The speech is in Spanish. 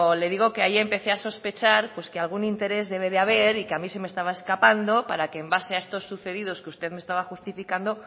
le digo que ahí empecé a sospechar pues que algún interés debe de haber y que a mí se me estaba escapando para que en base a estos sucedidos que usted me estaba justificando